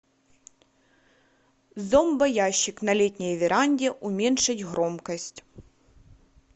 зомбоящик на летней веранде уменьшить громкость